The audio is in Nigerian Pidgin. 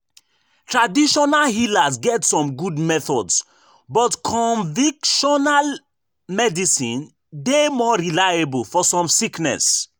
traditional healers get some good methods but convictional medicine dey more reliable for some sickness.